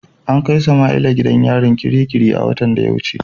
An kai Samaila gidan yarin kirikiri a watan da ya wuce.